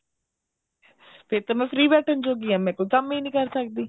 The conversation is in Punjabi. ਫੇਰ ਤਾਂ ਮੈਂ free ਬੈਠਣ ਜੋਗੀ ਹਾਂ ਕੰਮ ਹੀ ਨਹੀਂ ਕਰ ਸਕਦੀ